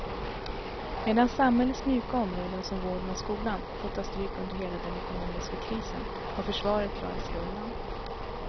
Medan samhällets mjuka områden som vården och skolan fått ta stryk under hela den ekonomiska krisen har försvaret klarat sig undan.